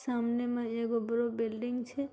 सामने मे एगो बडो बिल्डिंग छे।